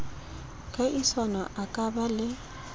kahisano a ka ba le